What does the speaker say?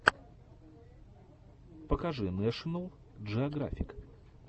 покажи нэшнл джиографик